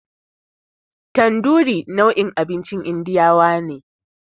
Tanduri nau'in abincin indiyawa ne.